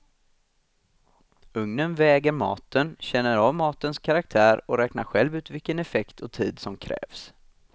Ugnen väger maten, känner av matens karaktär och räknar själv ut vilken effekt och tid som krävs.